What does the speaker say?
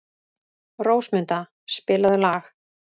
Rósmunda, spilaðu lag.